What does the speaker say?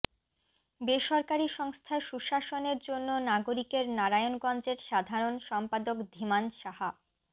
বেসরকারি সংস্থা সুশাসনের জন্য নাগরিকের নারায়ণগঞ্জের সাধারণ সম্পাদক ধীমান সাহা